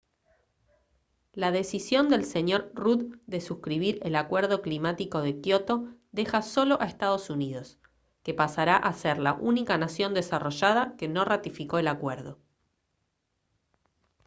la decisión del sr rudd de suscribir el acuerdo climático de kyoto deja solo a estados unidos que pasará a ser la única nación desarrollada que no ratificó el acuerdo